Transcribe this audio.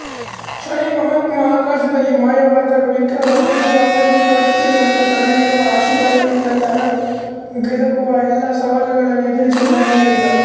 ಶನಿ ಮಹಾತ್ಮ ಆಕಾಶದಲ್ಲಿ ಮಾಯವಾದಾಗ ವಿಕ್ರಮ ಅದೊಂದು ಆಕಸ್ಮಿಕವಷ್ಟೆ ಮತ್ತು ತನಗಿರುವ ಆಶೀರ್ವಾದದಿಂದ ತನಗೊದಗುವ ಎಲ್ಲಾ ಸವಾಲುಗಳನ್ನು ಎದುರಿಸುವುದಾಗಿ ಹೇಳಿದ